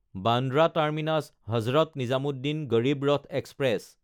Bandra টাৰ্মিনাছ–হজৰত Nizamuddin Garib Rath express